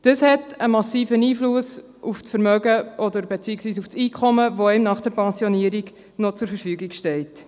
Das hat einen massiven Einfluss auf das Einkommen, das einem nach der Pensionierung noch zur Verfügung steht.